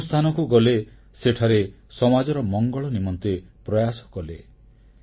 ସେ ଯେଉଁ ସ୍ଥାନକୁ ଗଲେ ସେଠାରେ ସମାଜର ମଙ୍ଗଳ ନିମନ୍ତେ ପ୍ରୟାସ କଲେ